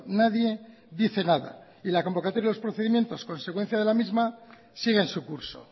nadie dice nada y la convocatoria de los procedimientos consecuencia de la misma sigue en su curso